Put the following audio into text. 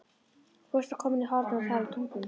Fóstra komin í hornið og talar tungum.